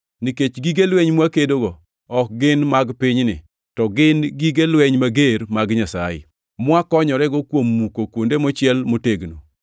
Nikech gige lweny mwakedogo ok gin mag pinyni, to gin gige lweny mager mag Nyasaye, mwakonyorego kuom muko kuonde mochiel motegno.